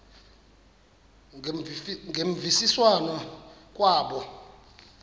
ngemvisiswano r kwabo